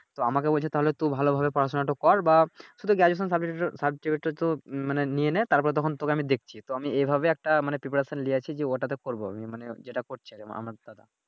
তো আমাকে বলছে তাহলে তুই ভালো ভাবে পড়াশুনাটা কর বা শুধু Graduation সার্টিফিকেট সার্টিফিকেট টা তো মানে নিয়ে নেয় তারপরে তখন তোকে আমি দেখছি তো আমি এইভাবে একটা Preparation নিয়েছি যে ওইটাতে করবো আমি মানে যেটাতে করছে যে আমার দাদা